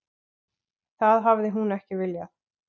Það hafi hún ekki viljað.